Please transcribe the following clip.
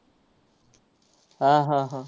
हा, हा, हा.